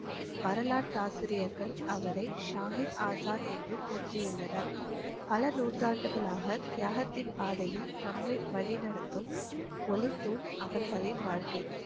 வரலாற்று ஆசிரியர்கள் அவரை ஷாஹீத் ஆசான் என்று போற்றியுள்ளனர் பல நூற்றாண்டுகளாக தியாகத்தின் பாதையில் நம்மை வழி நடத்தும் ஓளி தூண் அவர்களின் வாழ்க்கை